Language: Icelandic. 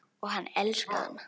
Og hann elskaði hana.